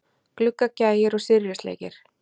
Gluggagægir og Syrjusleikir.